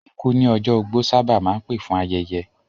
Ikú ní ọjọ́ ogbó sábà máa ń pè fún ayẹyẹ